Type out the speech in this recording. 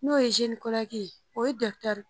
N'o ye o ye dɔkitɛri